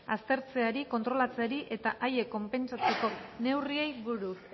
aztertzeari kontrolatzeari eta haiek konpentsatzeko neurriei buruz